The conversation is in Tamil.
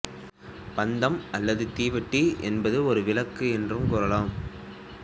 பந்தம் அல்லது தீவெட்டி என்பது ஒரு விளக்கு என்று கூறலாம்